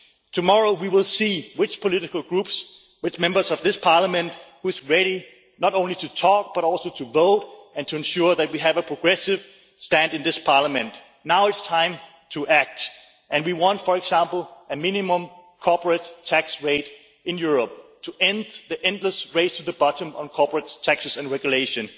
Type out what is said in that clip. Tomorrow, we will see which political groups and which Members of this Parliament are ready not only to talk, but also to vote and to ensure that we have a progressive stand in this Parliament. Now it is time to act, and we want a minimum corporate tax rate in Europe in order to end the endless race to the bottom on corporate taxes and regulation.